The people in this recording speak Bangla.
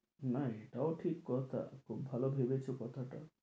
না এটাও ঠিক কথা, খুব ভালো ভেবেছো কথাটা